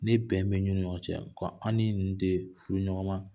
Ne bɛn bɛ ninnu ni ɲɔgɔn cɛ ko an ni ninnu furu ɲɔgɔnma ma ye